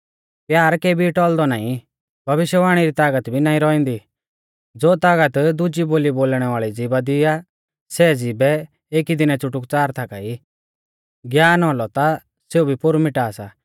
प्यार केबी टौल़दौ नाईं भविष्यवाणी री तागत भी नाईं रौउंदी ज़ो तागत दुजी बोली बोलणै वाल़ी ज़िभा दी आ सै ज़िभै एकी दीनै च़ुटुकच़ार थाका ई ज्ञान औलौ ता सेऊ भी पोरु मिटा सा